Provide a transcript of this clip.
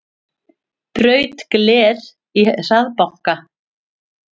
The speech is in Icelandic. Braut gler í hraðbanka